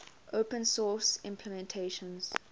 open source implementations